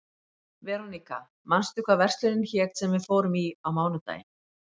Veróníka, manstu hvað verslunin hét sem við fórum í á mánudaginn?